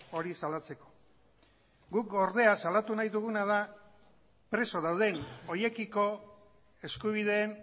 hori salatzeko guk ordea salatu nahi duguna da preso dauden horiekiko eskubideen